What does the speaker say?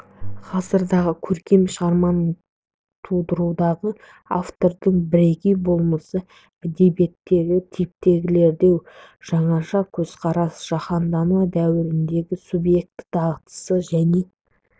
ғасырдағы көркем шығарманы тудырудағы автордың бірегей болмысы әдебиеттегі типтендіруге жаңаша көзқарас жаһандану дәуіріндегі субъекті дағдарысы және